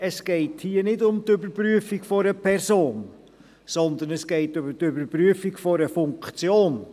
Es geht hier nicht um die Überprüfung einer Person, sondern es geht um die Überprüfung einer Funktion.